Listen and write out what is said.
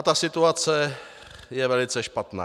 A ta situace je velice špatná.